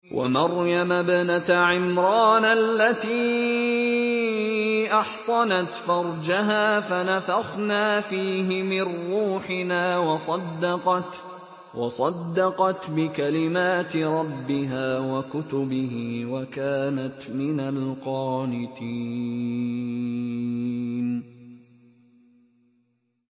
وَمَرْيَمَ ابْنَتَ عِمْرَانَ الَّتِي أَحْصَنَتْ فَرْجَهَا فَنَفَخْنَا فِيهِ مِن رُّوحِنَا وَصَدَّقَتْ بِكَلِمَاتِ رَبِّهَا وَكُتُبِهِ وَكَانَتْ مِنَ الْقَانِتِينَ